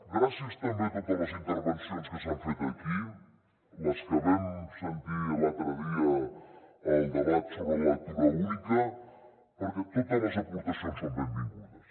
gràcies també a totes les intervencions que s’han fet aquí les que vam sentir l’altre dia al debat sobre la lectura única perquè totes les aportacions són benvingudes